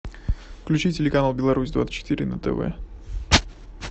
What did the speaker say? включи телеканал беларусь двадцать четыре на тв